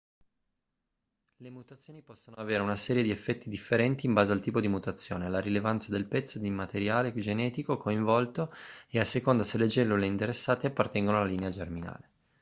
le mutazioni possono avere una serie di effetti differenti in base al tipo di mutazione alla rilevanza del pezzo di materiale genetico coinvolto e a seconda se le cellule interessate appartengono alla linea germinale